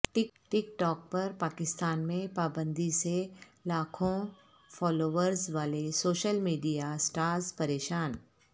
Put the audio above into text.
ٹک talk پر پاکستان میں پابندی سے لاکھوں فالوورز والے سوشل میڈیا سٹارز پریشان